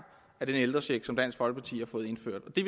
af den ældrecheck som dansk folkeparti har fået indført og det